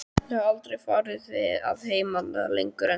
Ég hafði aldrei farið að heiman lengur en til